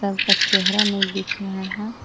चेहरा नहीं दिख रहा है।